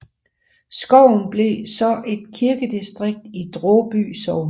Skoven blev så et kirkedistrikt i Draaby Sogn